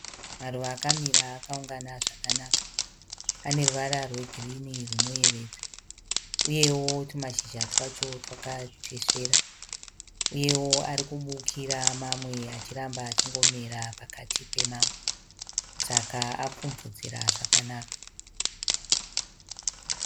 Maruva akamira akaungana zvakanaka. Ane ruvara rwegirini rwunoyevedza uyewo twumashizha twacho twakatesvera. Uyewo ari kubukira, mamwe achiramba achingomera pakati pemamwe saka apfumvudzira zvakanaka.